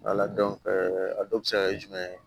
a dɔw bɛ se ka kɛ jumɛn ye